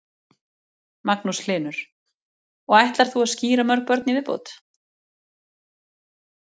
Magnús Hlynur: Og ætlar þú að skíra mörg börn í viðbót?